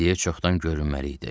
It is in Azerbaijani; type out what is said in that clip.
İndiyə çoxdan görünməli idi.